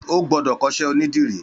Ó gbọdọ kọṣẹ ónìdìrí